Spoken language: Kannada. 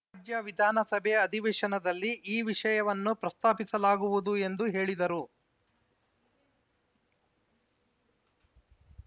ರಾಜ್ಯ ವಿಧಾನಸಭೆ ಅಧಿವೇಶನದಲ್ಲಿ ಈ ವಿಷಯವನ್ನು ಪ್ರಸ್ತಾಪಿಸಲಾಗುವುದು ಎಂದು ಹೇಳಿದರು